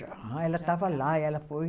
Já, ela estava lá, ela foi.